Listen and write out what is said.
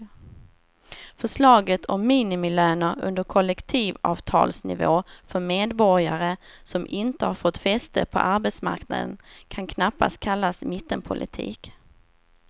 Förslaget om minimilöner under kollektivavtalsnivå för medborgare som inte har fått fäste på arbetsmarknaden kan knappast kallas mittenpolitik.